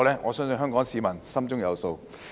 我相信香港市民心中有數。